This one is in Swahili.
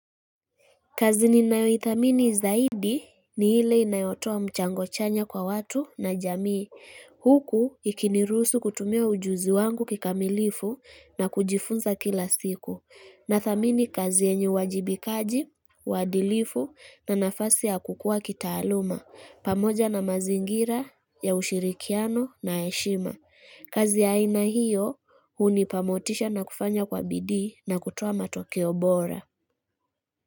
Kazi ninayoithamini zaidi ni hile inayotua mchango chanya kwa watu na jamii. Huku ikiniruhusu kutumia ujuzi wangu kikamilifu na kujifunza kila siku. Nadhamini kazi enye wajibikaji, wadilifu na nafasi ya kukua kitaaluma. Pamoja na mazingira ya ushirikiano na heshima. Kazi ya haina hiyo hunipa motisha na kufanya kwa bidi na kutuoa matokeo bora.